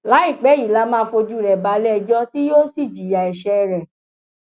láìpẹ yìí la máa fojú rẹ balẹẹjọ tí yóò sì jìyà ẹṣẹ rẹ